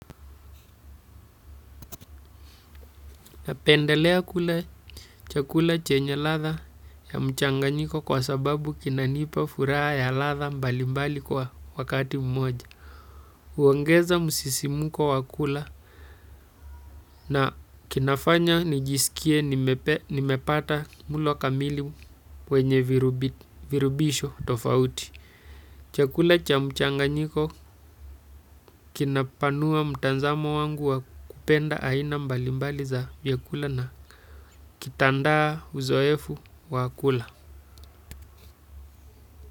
Na pendelea kule chakula chenye latha ya mchanganyiko kwa sababu kinanipa furaa ya latha mbalimbali kwa wakati mmoja. Uongeza musisimuko wakula na kinafanya nijisikie nimepata mulo kamili wenye virubisho tofauti. Chakula cha mchanganyiko kinapanua mtanzamo wangu wakupenda aina mbalimbali za vyakula na kitanda uzoefu wakula.